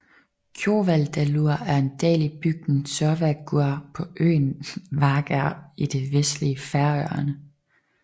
Kjóvadalur er en dal i bygden Sørvágur på øen Vágar i det vestlige Færøerne